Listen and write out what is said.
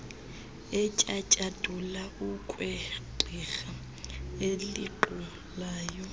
etyatyadula okwegqirha elinqulayo